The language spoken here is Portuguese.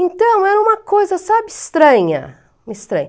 Então, era uma coisa, sabe, estranha.